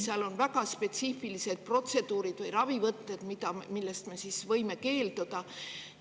Seal on väga spetsiifilised protseduurid või ravivõtted, millest me võime keelduda.